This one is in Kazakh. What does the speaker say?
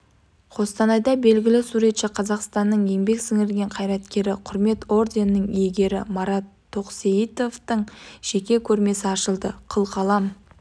қостанайда белгілі суретші қазақстанның еңбек сіңірген қайраткері құрмет орденінің иегері марат тоқсейітовтың жеке көрмесі ашылды қылқалам